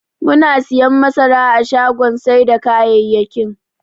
Muna siyan masara a shagon sai da kayayyakin.